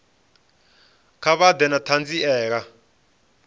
kha vha ḓe na ṱhanziela